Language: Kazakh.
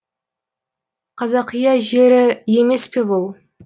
қазақия жері емес пе бұл